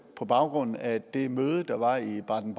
på baggrund af det møde der var i baden